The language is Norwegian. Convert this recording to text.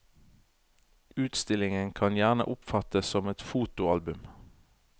Utstillingen kan gjerne oppfattes som et fotoalbum.